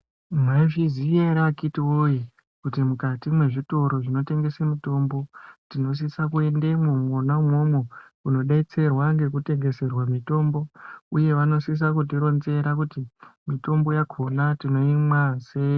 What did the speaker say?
Maizviziya here akiti woye kuti mukati mezvitiro zvinotengesa mitombo tinosisa kuendamwo kunobetserwa nekutengeserwa mitombo uye vanosisa kutironzera kuti mitombo yacho tinoimwa sei